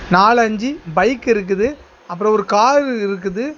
நாலு அஞ்சு பைக் இருக்குது அப்புறம் ஒரு காரு இருக்குது.